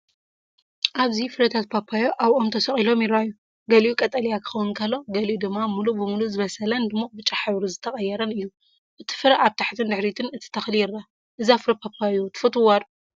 ኣብዚ ፍረታት ፓፓዮ ኣብ ኦም ተሰቒሎም ይረኣዩ። ገሊኡ ቀጠልያ ክኸውን ከሎ፡ ገሊኡ ድማ ምሉእ ብምሉእ ዝበሰለን ድሙቕ ብጫ ሕብሪ ዝተቐየረን እዩ። እቲ ፍረ ኣብ ታሕቲን ድሕሪትን እቲ ተኽሊ ይርአ። እዛ ፍረ ፓፓዮ ትፈትውዋ ዶ?